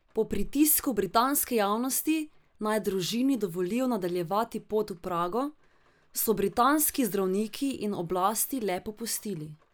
Po pritisku britanske javnosti, naj družini dovolijo nadaljevati pot v Prago, so britanski zdravniki in oblasti le popustili.